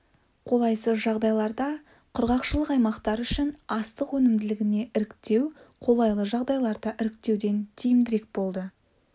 қолайсыз жағдайларда құрғақшылық аймақтар үшін астық өнімділігіне іріктеу қолайлы жағдайларда іріктеуден тиімдірек болды